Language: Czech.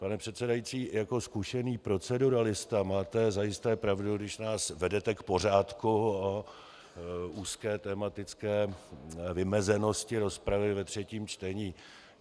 Pane předsedající, jako zkušený proceduralista máte zajisté pravdu, když nás vedete k pořádku o úzké tematické vymezenosti rozpravy ve třetím čtení.